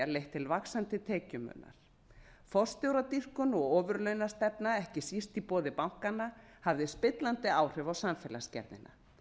leitt til vaxandi tekjumunar forstjóradýrkun og ofurlaunastefna ekki síst í boði bankanna hafði spillandi áhrif á samfélagsgerðina